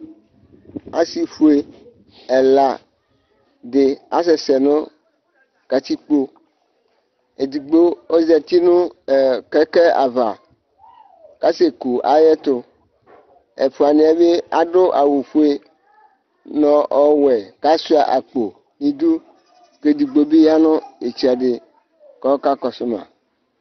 asii ƒʋɛ ɛla di asɛsɛ nʋ katikpɔ, ɛdigbɔ ɔzati nʋ kɛkɛ aɣa kʋ asɛ kʋ ayɛtʋ ,ɛƒʋaniɛ bi adʋ awʋ ƒʋɛ nʋ ɔwɛ kʋ asʋa akpɔ nidʋ kʋ ɛdigbɔ bi yanʋ itsɛdi kʋ ɔkakɔsʋ ma